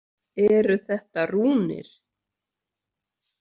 Eru þetta rúnir?